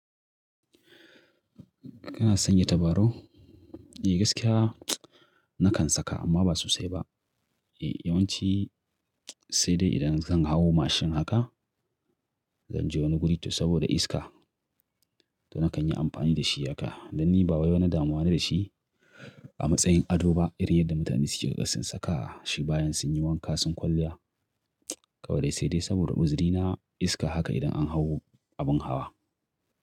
Kana sanye tabarau? Eh gaskiya nakan saka amma ba sosai ba. Eh yawanci sai dai idan zan hau mashin haka, zan je wani guri to saboda iska, to nakan yi amfani da shi haka. Dan ni bawa wani damuwa ne da shi a matsayin ado ba irin yadda mutane suke ƙasƙan saka shi bayan sun yi wanka sun kwalliya. Kawai dai sai dai saboda uzarina iska haka idan an hau abin hawa.